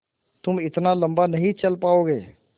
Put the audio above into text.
तुम इतना लम्बा नहीं चल पाओगे